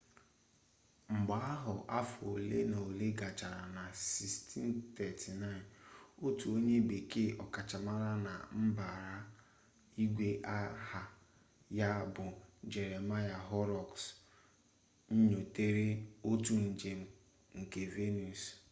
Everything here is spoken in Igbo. mgbe ahụ afọ ole na ole gachara na 1639 otu onye bekee ọkachamara na mbara igwe aha ya bụ jeremiah horrocks nyotere otu njem nke venus